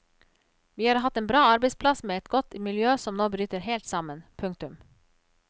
Vi har hatt en bra arbeidsplass med et godt miljø som nå bryter helt sammen. punktum